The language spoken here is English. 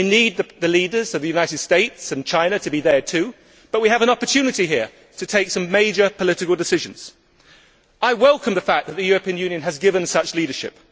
We need the leaders of the United States and China to be there too, but we have an opportunity here to take some major political decisions. I welcome the fact that the European Union has given such leadership.